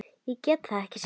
Ég gat það ekki sjálf.